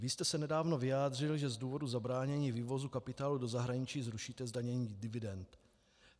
Vy jste se nedávno vyjádřil, že z důvodu zabránění vývozu kapitálu do zahraničí zrušíte zdanění dividend.